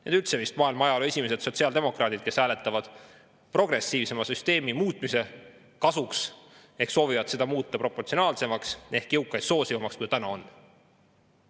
Need üldse on vist maailma ajaloos esimesed sotsiaaldemokraadid, kes hääletavad progressiivse süsteemi muutmise ning soovivad seda muuta proportsionaalsemaks ehk jõukaid soosivamaks, kui see täna on.